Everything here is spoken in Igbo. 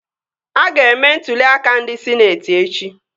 A ga-eme ntụli aka ndị sịneetị echi